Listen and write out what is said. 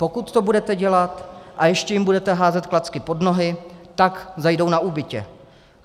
Pokud to budete dělat a ještě jim budete házet klacky pod nohy, tak zajdou na úbytě.